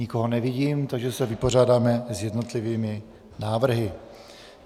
Nikoho nevidím, takže se vypořádáme s jednotlivými návrhy.